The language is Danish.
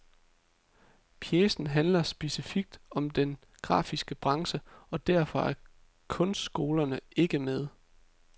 Pjecen handler specifikt om den grafiske branche, og derfor er kunstskolerne ikke med.